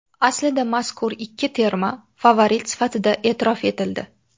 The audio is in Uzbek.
Aslida mazkur ikki terma favorit sifatida e’tirof etildi.